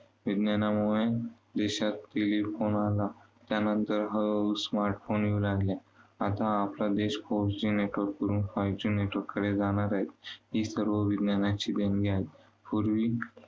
विज्ञानामुळे देशात telephone आला, त्यानंतर smart phone आले. आता आपला देश Four G Network कडून Five G Network कडे जाणार आहे. ही सर्व विज्ञानाची देणगी आहे. पूर्वी